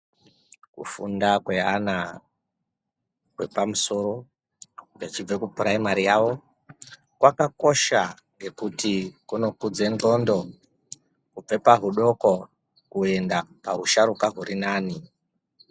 Ku funda kwe ana e pamusoro echibve ku puraimari yavo kwakakosha ngekuti kuno kudze ndxondo kubve pa hudoko kuenda pahusharuka huri nani.